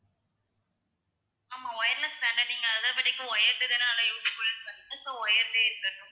ஆமாம் wireless வேண்டாம் நீங்க அதை விட இப்போ wired தானே நல்ல useful ன்னு சொன்னீங்க so wired லயே இருக்கட்டும்.